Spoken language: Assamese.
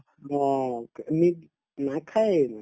অ, ক নিক নাখায়ে মানে